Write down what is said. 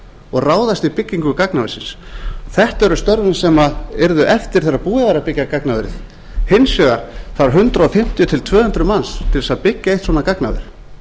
og ráðast í byggingu gagnaversins þetta eru störfin sem yrðu eftir þegar búið væri að byggja gagnaverið hins vegar þarf hundrað fimmtíu til tvö hundruð manns til að byggja eitt svona gagnaver